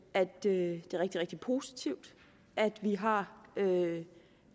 at det er rigtig rigtig positivt at vi har